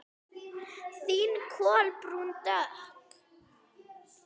Þín Kolbrún Dögg.